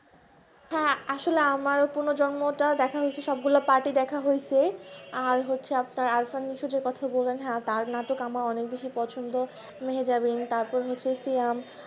হ্যাঁ আসলে আমার পুনর্জন্ম টা দেখা হয়েছে সব গুলো part ই দেখা হয়েছে আর হচ্ছে যে আরফানের যে কথা হয়েছে যে নাটক আমার বেশি পছন্দ মেহেজাবি তারপর হচ্ছে যে শ্যাম